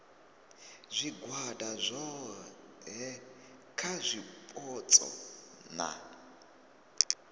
zwigwada zwohe kha zwipotso na